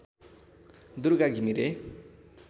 Durga Ghimire